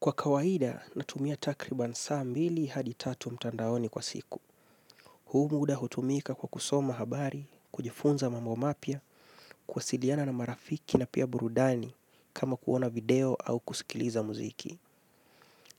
Kwa kawaida, natumia takriban saa mbili hadi tatu mtandaoni kwa siku. Huu muda hutumika kwa kusoma habari, kujifunza mambo mapya, kuwasiliana na marafiki na pia burudani, kama kuona video au kusikiliza muziki.